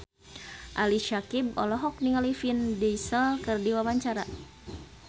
Ali Syakieb olohok ningali Vin Diesel keur diwawancara